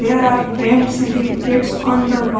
There are frame certificates on the wall --